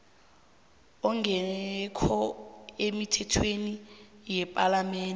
ongekho emithethweni yepalamende